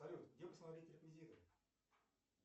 салют где посмотреть реквизиты